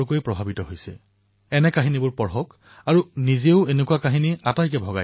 মোৰ মৰমৰ দেশবাসীসকল ১৭শ শতাব্দীৰ সুপ্ৰসিদ্ধ কবিয়ত্ৰী সাঞ্চী হোনম্মাই কন্নড় ভাষাত এটা কবিতা ৰচনা কৰিছিল